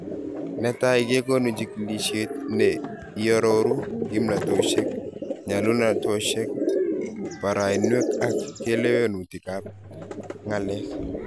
Netai kekonu chikilishet ne iyaroru kimnatoshek ,nyalunatoshek, barainwek ak kalewenutik ab ng'alek